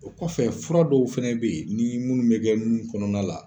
O kɔfɛ fura dɔw fɛnɛ bɛ yen, ni munnu bɛ kɛ nun kɔnɔna la.